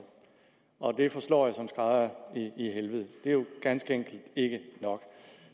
og det forslår jo som en skrædder i helvede det er ganske enkelt ikke nok